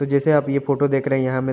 जैसे आप ये फोटो देख रहे यहाँ हमें --